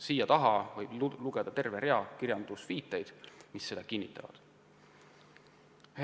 Siia järele võiks lisada terve rea viiteid allikatele, mis seda kinnitavad.